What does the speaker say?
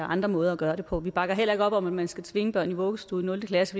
andre måder at gøre det på vi bakker heller ikke op om at man skal tvinge børn i vuggestue i nul klasse